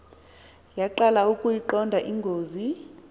yaqala ukuyiqonda ingozi